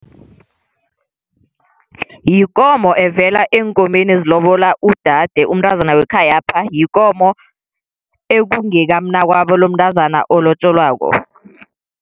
Yikomo evela eenkomeni ezilobola udade umntazana wekhayapha, yikomo ekungeka mnakwabo lomntazana olotjolwako.